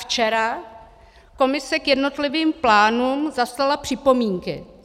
Včera Komise k jednotlivým plánům zaslala připomínky.